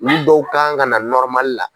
Ni dɔw kan ka na la.